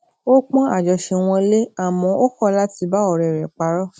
ó pon ajose won le àmó o ko lati ba ore re paró